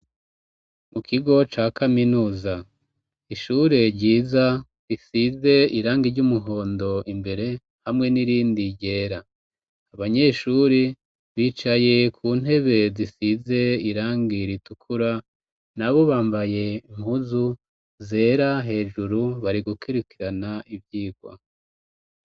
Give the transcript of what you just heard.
Mu kigo ca kaminuza. Ishure ryiza risize irangi ry'umuhondo imbere, hamwe n'irindi ryera. Abanyeshuri, bicaye ku ntebe zisize irangi ritukura, na bo bambaye impuzu zera hejuru bari gukirikirana ivyigwa.